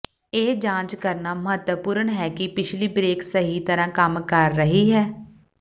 ਇਹ ਜਾਂਚ ਕਰਨਾ ਮਹੱਤਵਪੂਰਣ ਹੈ ਕਿ ਪਿਛਲੀ ਬਰੇਕ ਸਹੀ ਤਰ੍ਹਾਂ ਕੰਮ ਕਰ ਰਹੀ ਹੈ